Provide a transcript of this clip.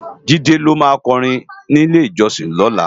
Jide ló má kòrin ni ilé-ijòsin lòlá